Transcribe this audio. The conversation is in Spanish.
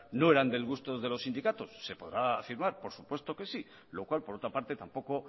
no eran del gusto de los sindicatos se podrá afirmar por supuesto que sí lo cual por otra parte tampoco